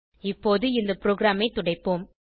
இப்போது இந்த ப்ரோகிராமைத் துடைப்போம்